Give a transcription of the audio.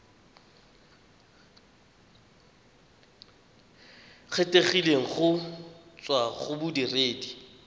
kgethegileng go tswa go bodiredi